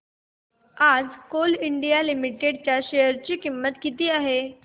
आज Coal India Limited च्या share ची किंमत किती आहे